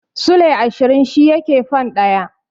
Silai ashirin shi yake fan ɗaya.